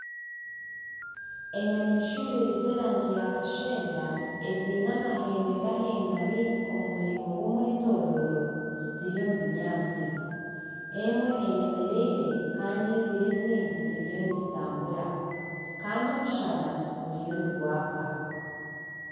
Enyamaishwa ibiri z'erangi ya kashenda, eziine amahembe gahengami omumuringo gw'omwetororo ziri omu binyatsi, emwe eyemereire Kandi ibiri ezindi ziriyo nizitambura, Kandi omushana guriyo nigwaka.